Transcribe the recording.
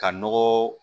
Ka nɔgɔ